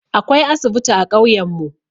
Akwai asibiti a ƙauyan mu.